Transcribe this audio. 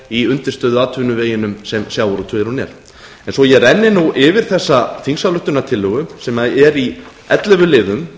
í undirstöðuatvinnuveginum sem sjávarútvegurinn er svo ég renni nú yfir þessa þingsályktunartillögu sem er í ellefu liðum